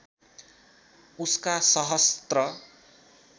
उसका सहस्त्र